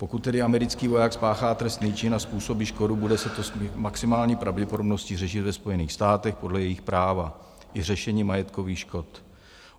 Pokud tedy americký voják spáchá trestný čin a způsobí škodu, bude se to s maximální pravděpodobností řešit ve Spojených státech podle jejich práva, i řešení majetkových škod.